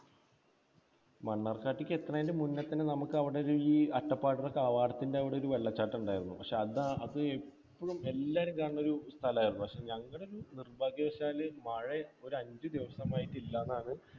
മണ്ണാർക്കാടേക്ക് എത്തുന്നതിനു മുന്നേ മുന്നെ തന്നെ നമുക്ക് അവിടെ ഒരു അട്ടപ്പാടിയുടെ കവാടത്തിന്റെ അവിടെ ഒരു വെള്ളച്ചാട്ടം ഉണ്ടായിരുന്നു. പക്ഷേ അത്, അത് എപ്പോഴും എല്ലാവരും കാണുന്ന ഒരു സ്ഥലമായിരുന്നു. പക്ഷേ ഞങ്ങളുടെ നിർഭാഗ്യവശാൽ മഴ ഒരു അഞ്ച് ദിവസം ആയിട്ട് ഇല്ല എന്നാണ്